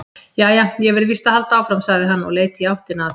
Jæja, ég verð víst að halda áfram, sagði hann og leit í áttina að